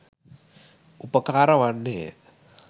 උපකාර වන්නේ ය.